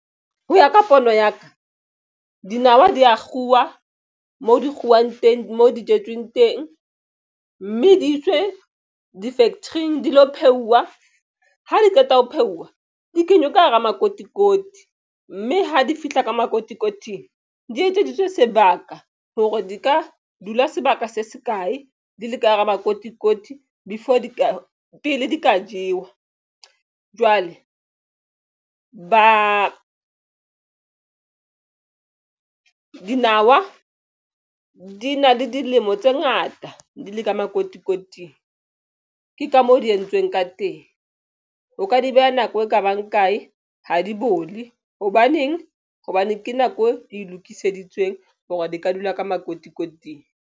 Ho ya ka pono ya ka dinawa di ya kguwa mo di kguwang teng mo di jetsweng teng mme di iswe di-factory-ing di lo pheuwa ha di qeta ho pheuwa di kenywa ka hara makotikoti mme ha di fihla ka makotikoting di etseditswe sebaka hore di ka dula sebaka se se kae di le ka hara makotikoti before di ka pele di ka jewa jwale ba dinawa di na le dilemo tse ngata di le ka makotikoting ke ka mo di entsweng ka teng. O ka di beha nako e kabang kae ha di bole hobaneng hobane ke nako e lokiseditsweng hore di ka dula ka makotikoting.